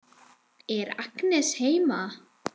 Er Agnes heima?